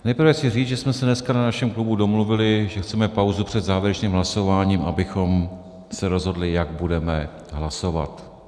Nejprve chci říct, že jsme se dneska na našem klubu domluvili, že chceme pauzu před závěrečným hlasováním, abychom se rozhodli, jak budeme hlasovat.